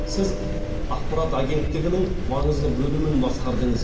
сіз ақпарат агенттігінің маңызды бөлімін басқардыңыз